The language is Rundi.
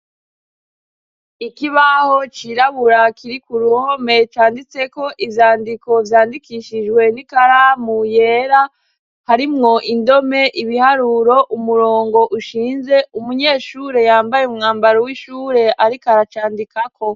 Ikibaho cirabura kiri kuruhome canditse ko izandiko zandikishijwe n'ikaramu yera harimwo indome ibiharuro umurongo ushinze umunyeshure yambaye umwambaro w'ishure ariko aracandika ko.